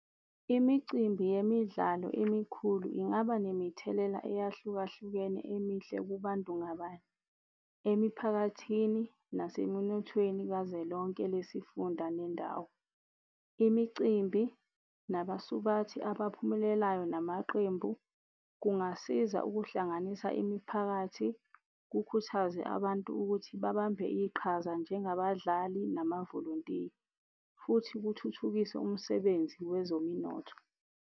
Imicimbi yemidlalo emikhulu ingaba nemithelela eyahlukahlukene emihle kubantu ngabanye, emiphakathini nasemunothweni kazwelonke lesifunda nendawo. Imicimbi nabasubathi abaphumelelayo namaqembu kungasiza ukuhlanganisa imiphakathi kukhuthazwe abantu ukuthi babambe iqhaza njengabadlali namavolontiya, futhi kuthuthukise umsebenzi wezominotho.